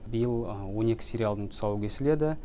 биыл он екі сериалдың тұсауы кесіледі